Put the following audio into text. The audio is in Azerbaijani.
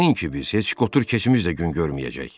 Nəinki biz, heç qotur keçmiş də gün görməyəcək.